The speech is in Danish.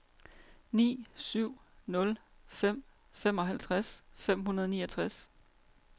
ni syv nul fem femoghalvtreds fem hundrede og niogtres